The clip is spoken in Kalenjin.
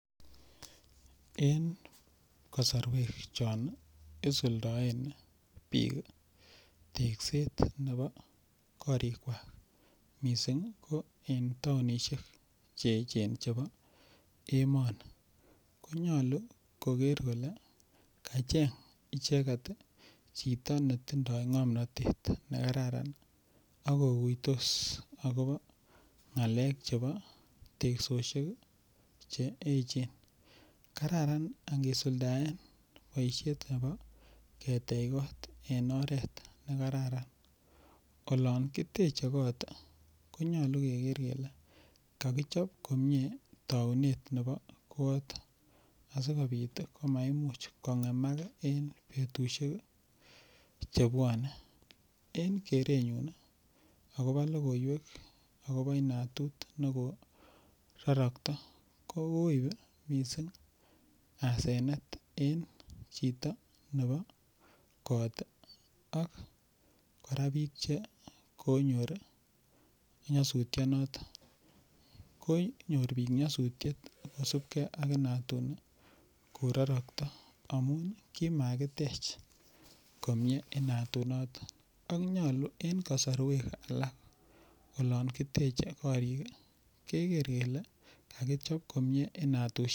Eng kosorwek chon isuldaen biik tekset nebo korik kwach mising ko eng taonishek cheechen chebo emoni konyolu koker kole kacheng icheket chito netindoi ng'omnotet nekararan akokuytos akobo ng'alek chebo teksoshek che echen kararan angesuldae boishet nebo ketech koot en oret nekararan olon kitechei koot konyolu keker kele kakichop komie tounet nebo koot asikobit komaimuchi kongeman eng betushek chebuone en kerenyun akobo lokoiwek akobo inatut nekororokto kikoip mising asenet eng chito nebo koot ak kora biik che konyor nyasutionoton konyor biik nyosutiet kosupkei ak inatut nekororokto amun kimakitech komie inatut noton akonyolu eng kasorwek alak olon kitechei korik keker kele kakichop komie inatushek.